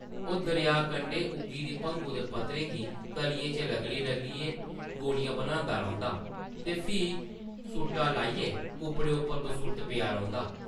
ओह् दरेआ कंढै उग्गी दी भङु दे पत्तरें गी तलियें च रगड़ी-रगड़ी गोलियां बनांदा रौंह्दा ते फ्ही सूटा लाइयै कुप्पड़ें उप्पर बसुर्त पेआ रौंह्दा ।